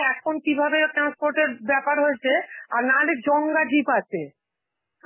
এখন কিভাবে ও~ transport এর ব্যাপার হয়েছে, আর না হলে জংগা jeep আছে,